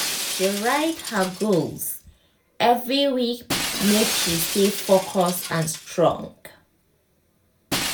she write her goals every week make she stay focus and strong.